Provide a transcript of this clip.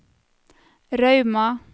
Rauma